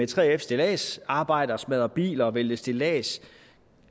3fs stilladsarbejdere smadre biler og vælte et stillads